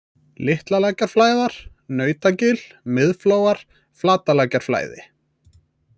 Litlalækjarflæðar, Nautagil, Miðflóar, Flatalækjarflæði